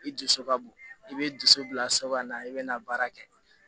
I dusu ka bon i bɛ dusu bila so kɔnɔ i bɛ na baara kɛ